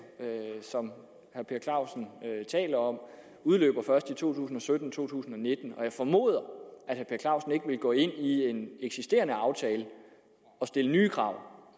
som herre per clausen taler om udløber først i to tusind og sytten to tusind og nitten jeg formoder at clausen ikke vil gå ind i en eksisterende aftale og stille nye krav